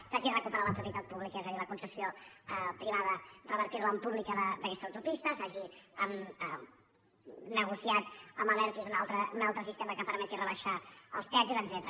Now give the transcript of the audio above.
s’ha hagi recuperat la propietat pública és a dir la concessió privada revertir la en pública d’aquesta autopista s’hagi negociat amb abertis un altre sistema que permeti rebaixar els peatges etcètera